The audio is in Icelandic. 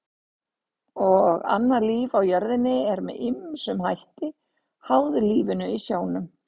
Og annað líf á jörðinni er með ýmsum hætti háð lífinu í sjónum.